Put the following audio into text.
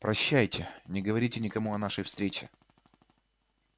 прощайте не говорите никому о нашей встрече